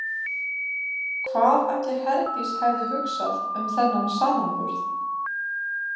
Hvað ætli Herdís hefði hugsað um þennan samanburð?